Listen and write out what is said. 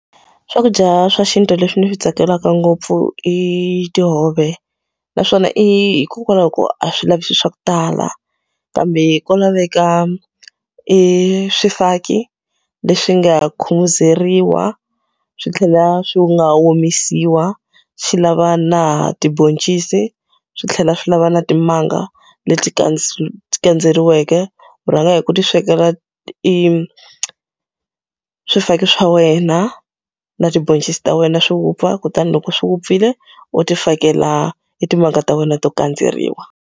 Swakudya swa xintu leswi ndzi swi tsakelaka ngopfu i tihove. Naswona hikokwalaho ko a swi lavi swilo swa ku tala, kambe ko laveka swifaki leswi nga khumuzeriwa, swi tlhela swi nga omisiwa, swi lava na tibhoncisi, swi tlhela swi lava na timanga leti kandzeriweke. U rhanga hi ku ti swekela swifaki swa wena na tibhoncisi ta wena swi vupfa kutani loko swi vupfile, u ti fakela i timhaka ta wena to kandzeriwa.